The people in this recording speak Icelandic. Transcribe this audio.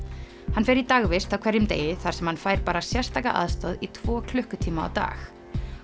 hann fer í dagvist á hverjum degi þar sem hann fær bara sérstaka aðstoð í tvo klukkutíma á dag